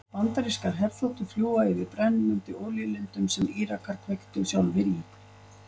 Bandarískar herþotur fljúga yfir brennandi olíulindum sem Írakar kveiktu sjálfir í.